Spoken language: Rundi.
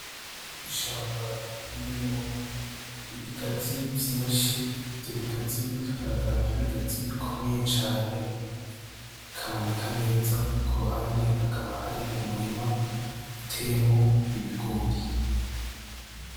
Ishamba ririmwo ibigazi vyinshi, ivyo bigazi bikagaragara nk'ibigazi bikomeye cane bikaboneka neza. Ku ruhande hakaba hari umurima uteyemwo ibigori.